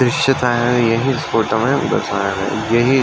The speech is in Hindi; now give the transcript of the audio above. दॄश्य का है। यही इस फोटो में दर्शाया गया है। यही --